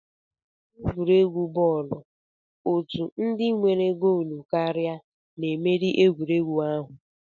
N'egwuregwu bọọlụ, otu ndị nyere goolu karịa na-emeri egwuregwu ahụ